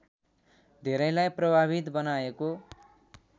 धेरैलाई प्रभावित बनाएको